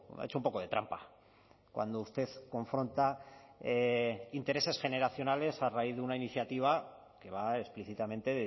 ha hecho un poco de trampa cuando usted confronta intereses generacionales a raíz de una iniciativa que va explícitamente